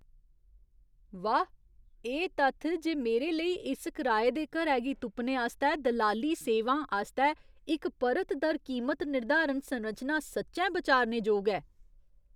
वाह्, एह् तत्थ जे मेरे लेई इस कराए दे घरै गी तुप्पने आस्तै दलाली सेवां आस्तै इक परत दर कीमत निर्धारण संरचना सच्चैं बचारने जोग ऐ।